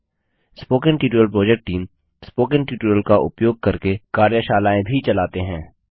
spoken tutorial project team spoken tutorial का उपयोग करके कार्यशालाएँ भी चलाते हैं